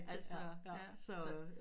Altså ja